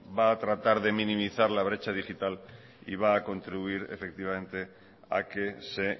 va a tratar de minimizar la brecha digital y va a contribuir efectivamente a que se